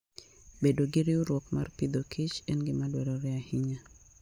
Bedo gi riwruok mar pidhokich en gima dwarore ahinya.